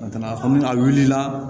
A tɛna fɔ ni a wulila